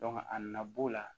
a nana b'o la